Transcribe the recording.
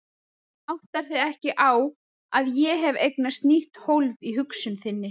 En þú áttar þig ekki á að ég hef eignast nýtt hólf í hugsun þinni.